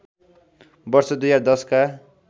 वर्ष २०१० का